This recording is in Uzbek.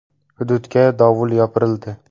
Hududga dovul yopirildi.